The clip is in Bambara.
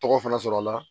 Tɔgɔ fana sɔrɔla